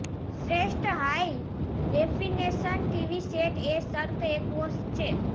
શ્રેષ્ઠ high definition TV set એ Sharp Aquos છે